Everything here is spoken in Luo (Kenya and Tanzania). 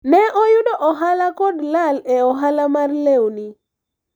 ne ayudo ohala kod lal e ohala mar lewni